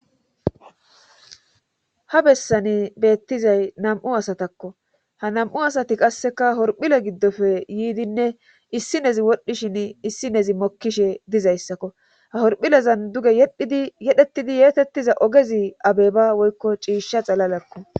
ha bessani beettizay nam7u asatakko ha nam7u asati qasseka horphile giddofe yiidinne issinezi wodhdhishin issinezi mokkishe dizayssakko ha horphilezan duge yedhidi yedhettidi yeetettiza ogezi abeba woykko ciishsha xalalakko.